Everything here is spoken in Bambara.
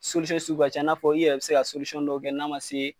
sugu ka can i n'a fɔ i yɛrɛ bi se ka dɔw kɛ n'a ma se